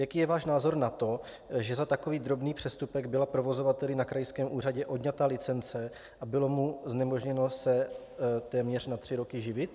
Jaký je váš názor na to, že za takový drobný přestupek byla provozovateli na krajském úřadě odňata licence a bylo mu znemožněno se téměř na tři roky živit?